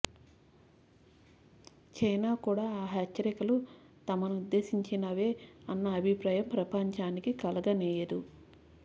China కూడా ఆ హెచ్చరికలు తమనుద్దేశించినవే అన్న అభిప్రాయం ప్రపంచానికి కలగనీయదు